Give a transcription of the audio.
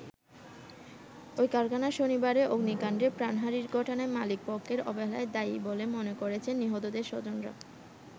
ওই কারখানায় শনিবারের অগ্নিকান্ডে প্রাণহানির ঘটনায় মালিক পক্ষের অবহেলাই দায়ী বলে মনে করছেন নিহতদের স্বজনরা।